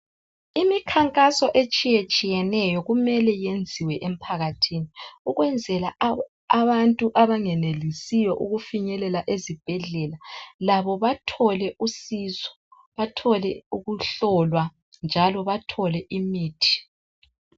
imikhankaso etshiyetshiyeneyo kumele yenziwe emphakathini ukwenzela abantu abangenelisiyo ukufinyelela ezibhedlela labo bathole usizo bathole ukuhlola njalo bathole imithi